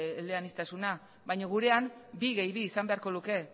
eleaniztasuna baina gurean bi gehi bi izan beharko luke